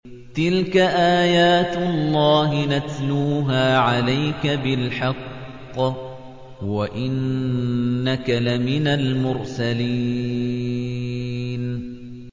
تِلْكَ آيَاتُ اللَّهِ نَتْلُوهَا عَلَيْكَ بِالْحَقِّ ۚ وَإِنَّكَ لَمِنَ الْمُرْسَلِينَ